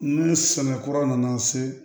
Ni sɛnɛ kura nana se